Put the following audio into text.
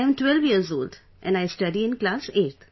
I am 12 years old and I study in class 8th